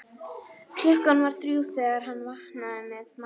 Klukkan var þrjú þegar hann vaknaði með magaverk.